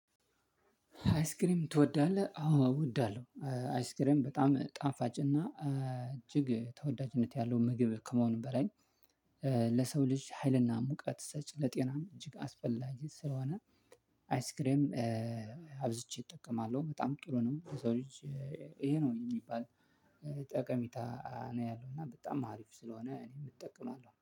አይስክሬም ትወዳለህ? አዎ እወዳለሁ። አይስክሬም በጣም ጣፋጭና እጅግ ተወዳጅነት ያለው ምግብ ከመሆኑም በላይ ለሰው ልጅ ሀይልና ሙቀት ሰጭ ለጤናም እጅግ አስፈላጊ ስለሆነ። አይስክሬም አብዝቼ እጠቀማለሁ በጣም ጥሩ ነው። የዛው ልጅ። ይሄ ነው የሚባል ጠቀሚታ ነው። ያለው እና በጣም አሪፍ ስለሆነ እኔ እጠቀማለሁ